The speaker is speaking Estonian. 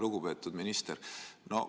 Lugupeetud minister!